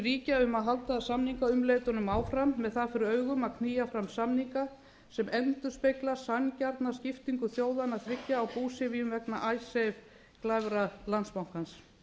ríkja um að halda samningaumleitunum áfram með það fyrir augum að knýja fram samninga sem endurspegla sanngjarna skiptingu þjóðanna þriggja á búsifjum vegna icesave glæfra landsbankans